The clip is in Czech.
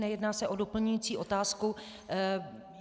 Nejedná se o doplňující otázku.